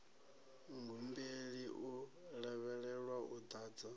muhumbeli u lavhelelwa u ḓadza